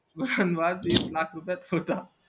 हातून च सुटला